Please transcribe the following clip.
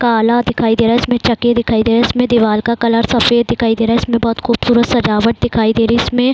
काला दिखाई दे रहा है। इसमें चक्के दिखाई दे रहे हैं। इसमें दीवाल का कलर सफ़ेद दिखाई दे रहा है। इसमें बहोत खूबसूरत सजावट दिखाई दे रही। इसमें --